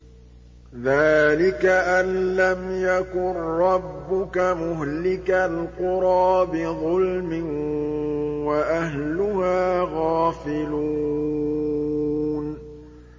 ذَٰلِكَ أَن لَّمْ يَكُن رَّبُّكَ مُهْلِكَ الْقُرَىٰ بِظُلْمٍ وَأَهْلُهَا غَافِلُونَ